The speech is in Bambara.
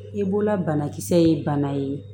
I bolola banakisɛ ye bana ye